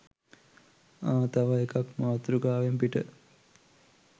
ආ තව එකක් මාතෘකාවෙන් පිට.